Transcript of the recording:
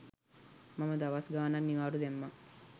මම දවස් ගාණක් නිවාඩු දැම්මා